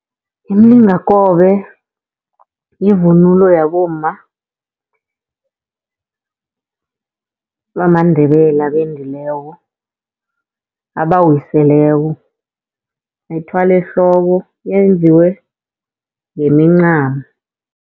Imilingakobe, yivunulo yabomma bamaNdebele abendileko abawiseleko. Bayithwala ehloko, yenziwe ngemincamo.